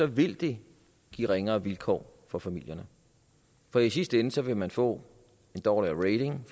vil det give ringere vilkår for familierne for i sidste ende vil man få en dårligere